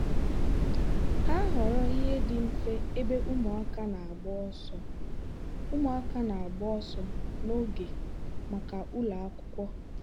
ha họọrọ ihe dị mfe ebe ụmụaka na-agba ọsọ ụmụaka na-agba ọsọ n'oge maka ụlọ akwụkwọ.